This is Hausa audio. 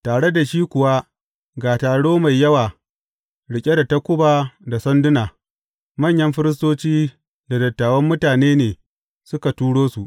Tare da shi kuwa ga taro mai yawa riƙe da takuba da sanduna, manyan firistoci da dattawan mutane ne suka turo su.